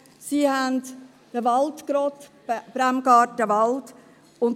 Sie haben im Bremgartenwald gerodet.